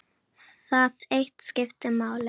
Það eitt skipti máli.